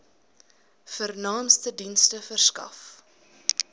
vernaamste dienste verskaf